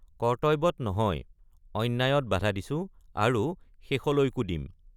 কৰ্ত্তব্যত নহয় অন্যায়ত বাধা দিছো আৰু শেষলৈকো দিম।